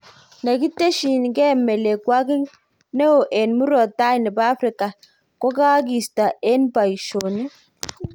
Nekiteshingee melekwangik ne o en murot tai nepo Africa kokakista en paishonik